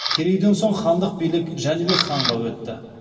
керейден соң хандық билік жәнібек ханға өтті